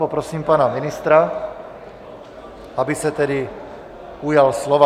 Poprosím pana ministra, aby se tedy ujal slova.